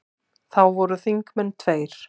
Þá voru þingmenn tveir.